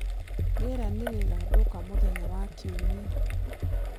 rĩera nirigathuka mũthenya wa kĩumĩa